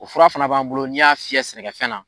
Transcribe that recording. O fura fana b'an bolo n'i y'a fiyɛ sɛnɛkɛfɛn na